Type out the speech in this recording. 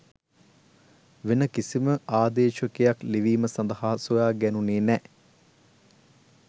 වෙන කිසිම ආදේශකයක් ලිවීම සඳහා සොයා ගැණුනෙ නෑ